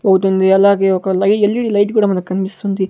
పోతుంది అలాగే ఒక లై ఎల్_ఈ_డి లైట్ కూడా మనకన్పిస్తుంది.